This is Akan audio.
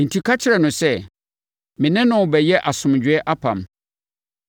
Enti ka kyerɛ no sɛ, me ne no rebɛyɛ asomdwoeɛ apam.